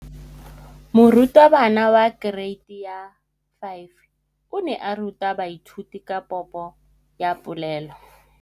Moratabana wa kereiti ya 5 o ne a ruta baithuti ka popô ya polelô.